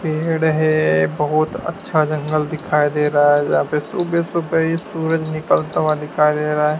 पेड़ है बहुत अच्छा जंगल दिखाई दे रहा है जहां पे सुबह सुबह ये सूरज निकलता हुआ दिखाई दे रहा है।